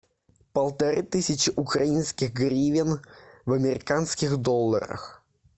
полторы тысячи украинских гривен в американских долларах